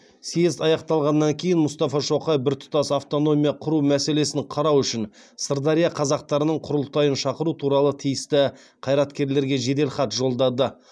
съезд аяқталғаннан кейін мұстафа шоқай біртұтас автономия құру мәселесін қарау үшін сырдария қазақтарының құрылтайын шақыру туралы тиісті қайраткерлерге жеделхат жолдады